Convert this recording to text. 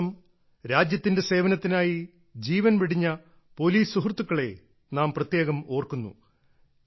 ഈ ദിവസം രാജ്യത്തിന്റെ സേവനത്തിനായി ജീവൻ വെടിഞ്ഞ പോലീസ് സുഹൃത്തുക്കളെ നാം പ്രത്യേകം ഓർക്കുന്നു